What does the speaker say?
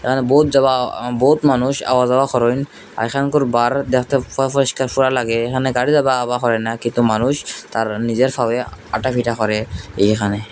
আর বউত যাওয়া বহুত মানুষ আওয়া যাওয়া করেন আর এখানকার বার দ্যাখতে ফুয়া ফয়িস্কার ফুয়া লাগে এহানে গাড়ি আওয়া যাওয়া করে না কিন্তু মানুষ তারা নিজের ফাওয়ে হাটাফিটা করে এইহানে।